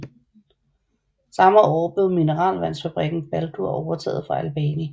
Samme år blev mineralvandsfabrikken Baldur overtaget fra Albani